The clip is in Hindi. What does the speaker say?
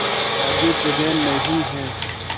आगे जगह नहीं हैं